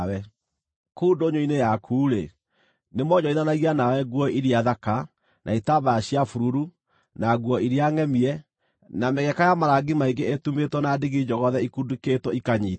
Kũu ndũnyũ-inĩ yaku-rĩ, nĩmoonjorithanagia nawe nguo iria thaka, na itambaya cia bururu, na nguo iria ngʼemie, na mĩgeka ya marangi maingĩ ĩtumĩtwo na ndigi njogothe ikundĩkĩtwo ikanyiitio.